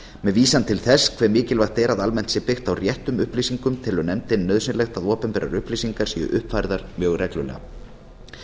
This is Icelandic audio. með vísun til þess hve mikilvægt er að almennt sé byggt á réttum upplýsingum telur nefndin nauðsynlegt að opinberar upplýsingar séu uppfærðar mjög reglulega